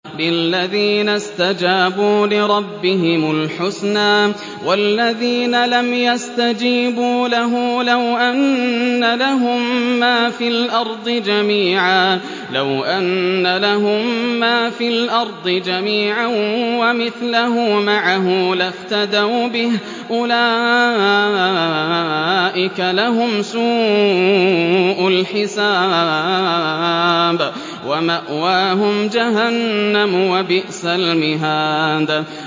لِلَّذِينَ اسْتَجَابُوا لِرَبِّهِمُ الْحُسْنَىٰ ۚ وَالَّذِينَ لَمْ يَسْتَجِيبُوا لَهُ لَوْ أَنَّ لَهُم مَّا فِي الْأَرْضِ جَمِيعًا وَمِثْلَهُ مَعَهُ لَافْتَدَوْا بِهِ ۚ أُولَٰئِكَ لَهُمْ سُوءُ الْحِسَابِ وَمَأْوَاهُمْ جَهَنَّمُ ۖ وَبِئْسَ الْمِهَادُ